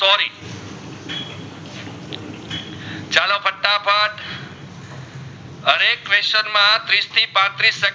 question માં ટ્રેસ થી પત્રીસ